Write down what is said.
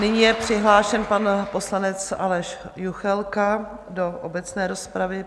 Nyní je přihlášen pan poslanec Aleš Juchelka do obecné rozpravy.